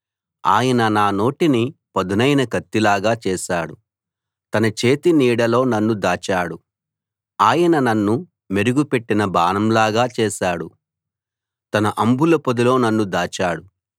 ఆయన నా నోటిని పదునైన కత్తిలాగా చేశాడు తన చేతి నీడలో నన్ను దాచాడు ఆయన నన్ను మెరుగుపెట్టిన బాణంలాగా చేశాడు తన అంబులపొదిలో నన్ను దాచాడు